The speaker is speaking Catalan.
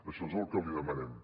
això és el que li demanem